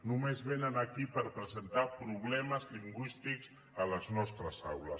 només vénen aquí per presentar problemes lingüístics a les nostres aules